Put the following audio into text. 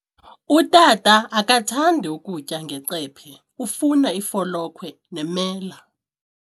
Utata akathandi kutya ngecephe, ufuna ifolokhwe nemela.